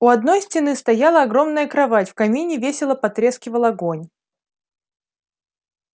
у одной стены стояла огромная кровать в камине весело потрескивал огонь